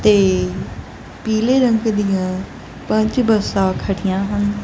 ਤੇ ਪੀਲੇ ਰੰਗ ਦਿਆਂ ਪੰਜ ਬੱਸਾਂ ਖੜੀਆਂ ਹਨ।